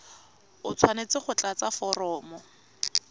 o tshwanetse go tlatsa foromo